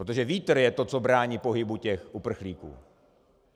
Protože vítr je to, co brání pohybu těch uprchlíků.